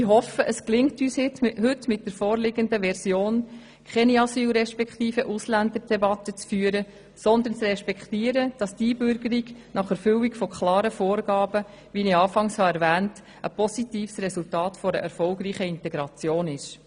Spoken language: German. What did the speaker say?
Ich hoffe, es gelingt uns heute mit der vorliegenden Version, keine Asyl- respektive Ausländerdebatte zu führen, sondern zu respektieren, dass die Einbürgerung nach Erfüllung klarer Vorgaben ein positives Resultat erfolgreicher Integration ist.